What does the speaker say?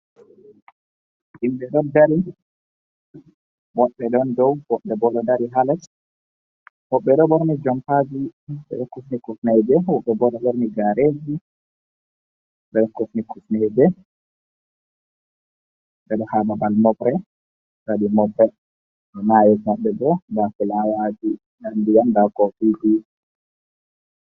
Himɓe ɗo dari woɓɓe ɗon dow woɓɓe boo ɗo dari haa les woɓɓe ɗo ɓoorni jompaaji ɗuuɗɓe ɗo kifni kifneeje woɓɓe boo ɗo ɓorni gaareeji ɓe ɗo kifni kifneeje ɓe ɗo haa babal mofre ɓe waɗi moɓgal emaa hermaɓɓe boo nda fulawaaji nda ndiyam nda koofiiji.